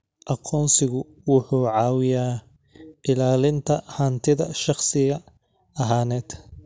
Aqoonsigu wuxuu caawiyaa ilaalinta hantida shakhsi ahaaneed.